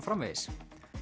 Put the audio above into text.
framvegis